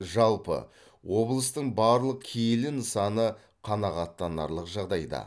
жалпы облыстың барлық киелі нысаны қанағаттанарлық жағдайда